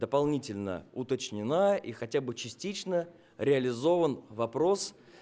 дополнительно уточнена и хотя бы частично реализован вопрос